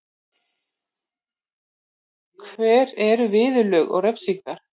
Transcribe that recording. Hver eru viðurlög og refsingar?